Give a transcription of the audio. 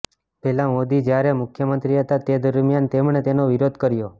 પહેલા મોદી જ્યારે મુખ્યમંત્રી હતા તે દરમિયાન તેમણે તેનો વિરોધ કર્યો